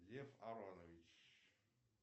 лев аронович